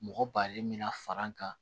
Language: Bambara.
Mɔgɔ balen mina far'an kan